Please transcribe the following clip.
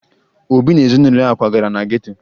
Obi na ezinụlọ ya kwagara na geto